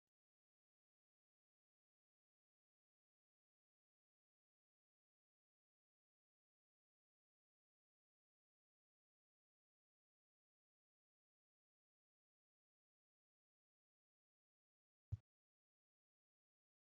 Saawwa, namaa fi aannan argina. Saawwaan dhaabbachuudhaan aannan kennaa kan jirtu yommuu ta'u, namichi immoo elmuudhaan aannan yeroo baasu argina. Aannan bu'aa loonii yommuu ta'u namoonni hedduu kan itti fayyadamanii fi bu'aa olaanaa qabudha.